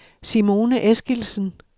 Simone Eskildsen